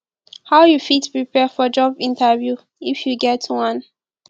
how you fit prepare for job interview if you get one